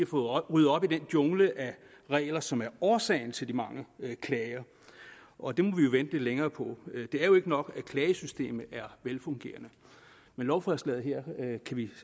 få ryddet op i den jungle af regler som er årsagen til de mange klager og det må vi jo vente lidt længere på det er jo ikke nok at klagesystemet er velfungerende men lovforslaget her kan vi